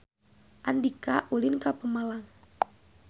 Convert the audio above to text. Andika ulin ka Pemalang